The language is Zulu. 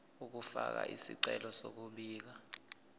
ukufaka isicelo sokubika